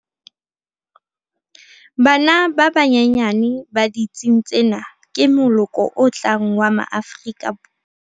Bana ba banyenyane ba ditsing tsena ke moloko o tlang wa Maafrika.